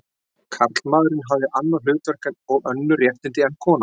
Karlmaðurinn hafi annað hlutverk og önnur réttindi en konan.